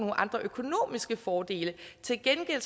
andre økonomiske fordele til gengæld